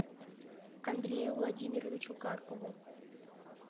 андрею владимировичу карпову